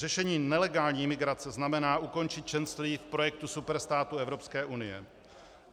Řešení nelegální imigrace znamená ukončit členství v projektu superstátu Evropské unie.